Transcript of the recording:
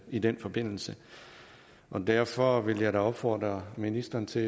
i den forbindelse derfor vil jeg da opfordre ministeren til